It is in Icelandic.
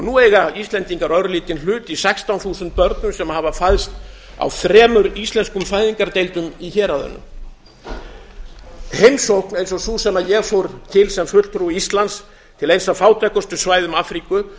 nú eiga íslendingar örlítinn hlut í sextán þúsund börnum sem hafa fæðst á þremur íslenskum fæðingardeildum í héraðinu heimsókn eins og sú sem ég fór í til sem fulltrúi íslands til eins af fátækustu svæðum afríku